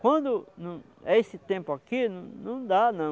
Quando não é esse tempo aqui, não dá não.